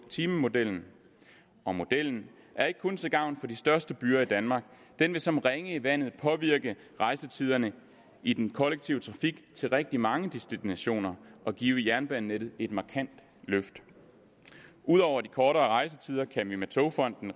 timemodellen og modellen er ikke kun til gavn for de største byer i danmark den vil som ringe i vandet påvirke rejsetiderne i den kollektive trafik til rigtig mange destinationer og give jernbanenettet et markant løft ud over de kortere rejsetider kan vi med togfonden